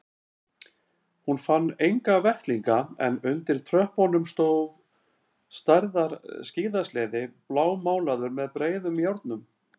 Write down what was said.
Hún fann enga vettlinga en undir tröppunum stóð stærðar skíðasleði blámálaður með breiðum járnum.